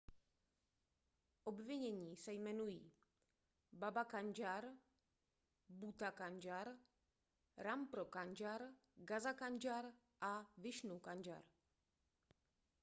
obvinění se jmenují baba kanjar bhutha kanjar rampro kanjar gaza kanjar a vishnu kanjar